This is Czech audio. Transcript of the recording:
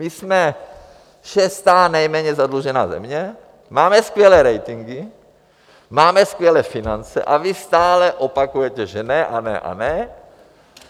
My jsme šestá nejméně zadlužená země, máme skvělé ratingy, máme skvělé finance, a vy stále opakujete, že ne a ne a ne.